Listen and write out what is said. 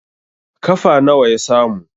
kafa nawa ya samu?